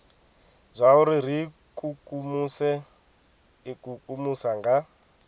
zwauri ri ikukumuse ikukumusa nga